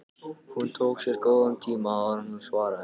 Hún tók sér góðan tíma áður en hún svaraði.